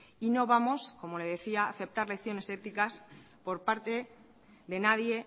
y no vamos como le decía a aceptar lecciones éticas por parte de nadie